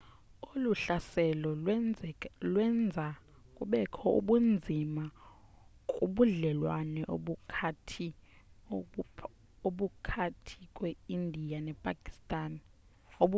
olu hlaselo lwenza kubekho ubunzima kubudlelwane obukhathi kweindiya nepakistan